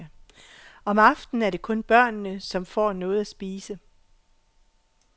Om aftenen er det kun børnene, som får noget at spise.